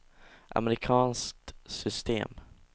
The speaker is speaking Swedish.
amerikanskt system